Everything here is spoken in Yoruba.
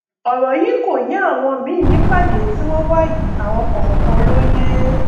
ọrọ yìí ò yé àwọn míín nípàdé tí wọn wà yìí àwọn kọọkan ló yé